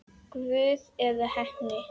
Guð eða heppni?